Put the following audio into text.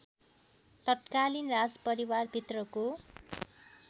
तत्कालिन राजपरिवारभित्रको